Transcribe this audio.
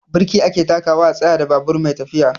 Birki ake takawa a tsayar da babur mai tafiya.